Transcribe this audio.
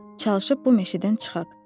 Çalışıb bu meşədən çıxaq.